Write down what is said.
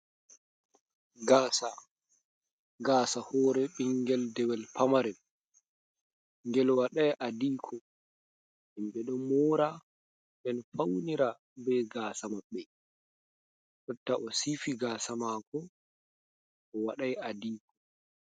Gaasa, gaasa hoore ɓinngel dewel pamarel ngel waɗay "adiiko". Himɓe ɗon moora nden fawnira bee gaasa maɓɓe, jotta o siifi gaasa maako o waɗay "adiiko".